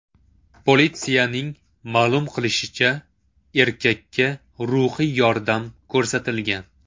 Politsiyaning ma’lum qilishicha, erkakka ruhiy yordam ko‘rsatilgan.